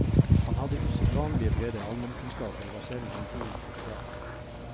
Han hadde usedvanlig brede almenkunnskaper, og var selv en god fotograf.